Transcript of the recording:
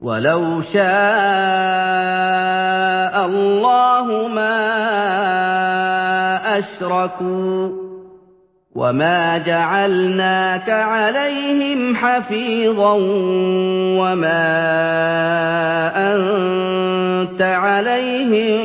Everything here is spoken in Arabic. وَلَوْ شَاءَ اللَّهُ مَا أَشْرَكُوا ۗ وَمَا جَعَلْنَاكَ عَلَيْهِمْ حَفِيظًا ۖ وَمَا أَنتَ عَلَيْهِم